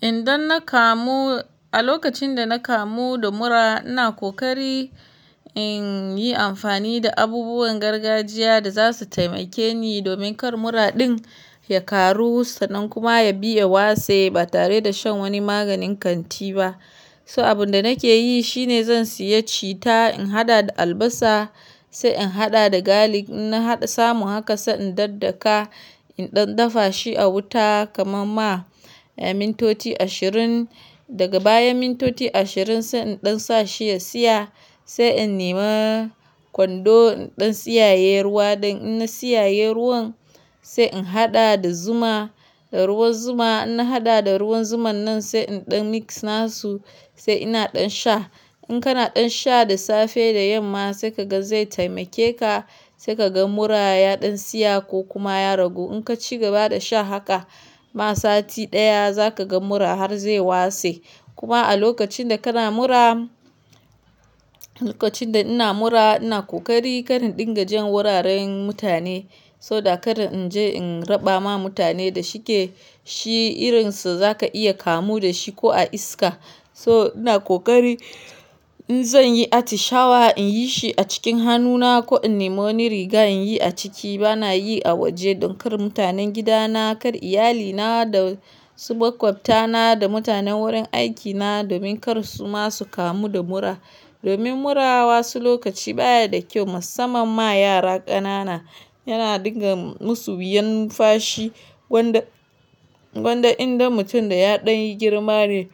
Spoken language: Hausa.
Inda na kamu, a lokacin da na kamu da mura ina kokari inyi amfani da abubuwan gargajiya da za su taimake ni domin kar mura din. Ya karu sa nan kuma ya biya wase ba tare da shan wani maganin kanti ba. So abun da nake yi shine zan siya cita in haɗa da albasa sai in haɗa da galic inna haɗa samu haka sa in daddaka, in ɗan dafa shi a wuta kama ma ya mintoti ashirin. Daga baya mintoti ashirin sai in ɗan sa shi ya siya sai in nema kwando in ɗan siyaye ruwa don ina siyaye ruwan sai in haɗa da zuma, da ruwan zuma inna haɗa da ruwan zuman nan sai in ɗan mix nasu sai ina ɗan sha. In kana ɗan sha da safe da yamma sai ka ga zai taimake ka sai ka ga mura ɗan siya ko kuma ya ragu. In ka ci gaba da sha haka ma sati daya zaka ga mura har zai wase. Kuma a lokacin da kana mura, lokacin da ina mura ina kokari kar in ɗin ga jan wuraren mutane so that kada in je in raba ma mutane da shike shi irin su zaka iya kamu da shi ko a iska. So ina kokari in zan yi ati shawa in yi shi a cikin hannuna ko in nema ni riga in yi a ciki ba na yi a waje don kar mutanen gidana, kar iyalina da su maƙwafta na da mutanen wurin aikina domin kar su ma su kamu da mura. Domin mura wasu lokaci baya da kyau musamman ma yara ƙanana yana ɗinga musu wuyan nunfashi gwanda--gwanda inda mutum da ya ɗanyi girma ne